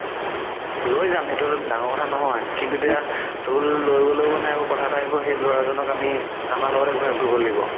লই যাম সেইটো ডাঙৰ কথা নহয় কিন্তু তেতিয়া ধুল লৈ গ'লেও মানে আকৌ কথা এটা আহিব সেই ল'ৰাজনক আমি আমাৰ লগতে ঘুৰাই ফুৰিব লাগিব